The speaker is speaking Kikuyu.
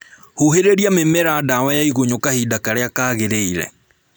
Huhĩrĩria mĩmera dawa ya igunyũ kahinda karĩa kaagĩrĩire